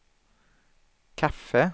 kaffe